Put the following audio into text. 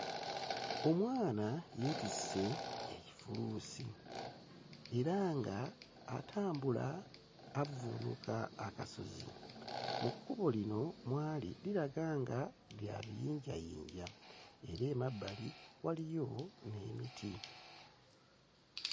Omwana yeetisse ekifuluusi era nga, atambula avvuunuka akasozi, mu kkubo lino mw'ali liraga nga lya biyinjayinja, era emabbali waliyo n'emiti.